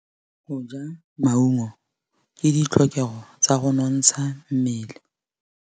Go ja maungo ke ditlhokegô tsa go nontsha mmele.